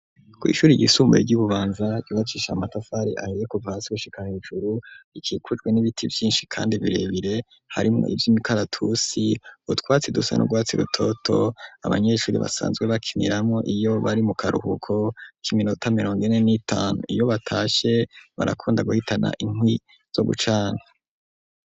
Kw'ishuri ryisumbuye ryi Bubanza ryubakishe amatafari ahiye kuva hasi gushika hejuru, rikikujwe n'ibiti vyinshi kandi birebire harimwo ivy'imikaratusi, utwatsi dusa nu rwatsi rutoto abanyeshuri basanzwe bakiniramwo iyo bari mu karuhuko k'iminota mirongine n'itanu, iyo batashe barakunda guhitana inkwi zo gucana.